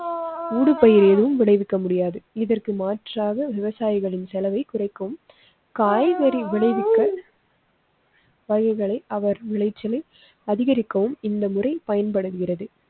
ஊடுபயிர் ஏதும் விளைவிக்க முடியாது. இதற்கு மாற்றாக விவசாயிகளின் செலவை குறைக்கும் காய்கறி விளைவிக்க. வழிகளை அவர் விளைச்சலை அதிகரிக்கவும் இந்த முறை பயன்படுகிறது.